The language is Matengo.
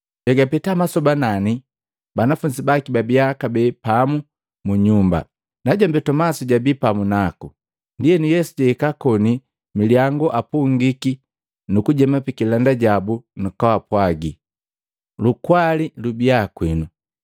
Egapeta masoba nani banafunzi baki babiya kabee pamu mu nyumba, najombi Tomasi jabii pamu naku. Ndienu Yesu jahika koni milyangu apungiki nu kujema pikilanda jabu nukupwaaga, “Lukwali lubiya kwinu!”